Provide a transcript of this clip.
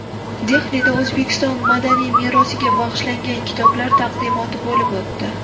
Dehlida O‘zbekiston madaniy merosiga bag‘ishlangan kitoblar taqdimoti bo‘lib o‘tdi.